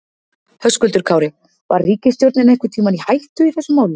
Höskuldur Kári: Var ríkisstjórnin einhvern tímann í hættu í þessu máli?